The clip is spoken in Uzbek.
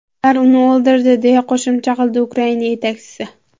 Ular uni o‘ldirdi”, deya qo‘shimcha qildi Ukraina yetakchisi.